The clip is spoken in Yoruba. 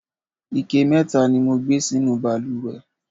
ike mẹta ni mo gbé sínú ìbalùwẹ̀